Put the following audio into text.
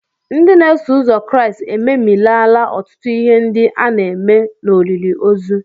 Ndị na-eso ụzọ Kraịst ememilaala ọtụtụ ihe ndị a na-eme n'olili ozu.